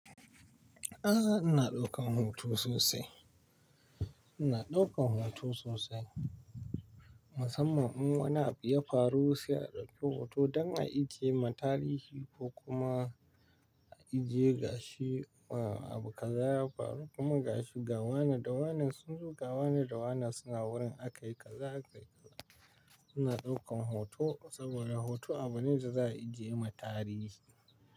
A'a ina daukan hoto sosai, ina daukan hoto sosai. Musamman in wani abu ya faru sai na ɗauki hoto dan a ijie ma tarihi ko kuma a iji ye gashi abu kaza ya faru kuma gashi gawana da wanan sunzo gawana da wanan suna wurin aka yi kaza aka yi kaza. Ina daukan hoto saboda hoto abu ne da za a ijie ma tarihi.